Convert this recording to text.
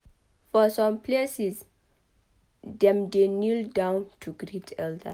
For some places dem dey kneel down to greet elders